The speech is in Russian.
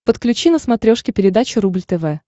подключи на смотрешке передачу рубль тв